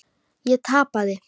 Ég tapaði.